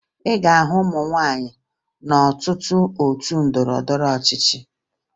Ị ga-ahụ ụmụ nwaanyị n'ọtụtụ otu ndọrọndọrọ ọchịchị